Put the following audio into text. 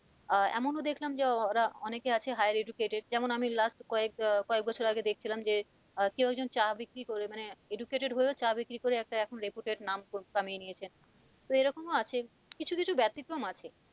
আহ এমনও দেখলাম যে এর অনেকে আছে higher educated যেমন আমি last কয়েক আহ কয়েক বছর আগে দেখছিলাম যে আহ কেউ একজন চা বিক্রি করে মানে educated হয়েও চা বিক্রি করে এখন একটা reputed নাম কামিয়ে নিয়েছেন তো এরকমও আছে কিছু কিছু ব্যতিক্রম ও আছে।